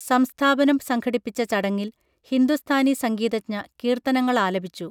സംസ്ഥാപനം സംഘടിപ്പിച്ച ചടങ്ങിൽ ഹിന്ദുസ്ഥാനി സംഗീതജ്ഞ കീർത്തനങ്ങളാലപിച്ചു